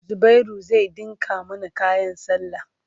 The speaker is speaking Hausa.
Zubairu zai ɗinka mana kayan sallah.